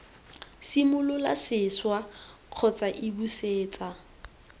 simolole sešwa kgotsa iii busetsa